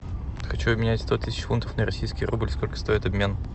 хочу обменять сто тысяч фунтов на российский рубль сколько стоит обмен